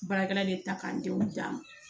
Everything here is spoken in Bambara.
Baarakɛla de ta k'an denw di yan